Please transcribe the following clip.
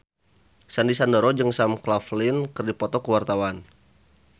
Sandy Sandoro jeung Sam Claflin keur dipoto ku wartawan